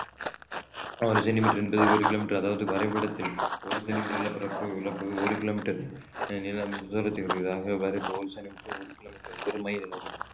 ஒரு சென்டிமீட்டர் என்பது ஒரு கிலோமீட்டர் அதாவது வரைபடத்தில் ஒரு சென்டிமீட்டர் நிலப்பரப்பு ஒரு கிலோமீட்டர் அஹ் தூரத்தில் ஒரு கிலோமீட்டர் ஒரு மைல்